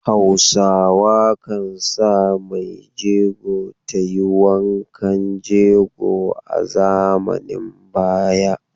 Hausa kan sa maijego ta yi wankan jego a zamanin baya.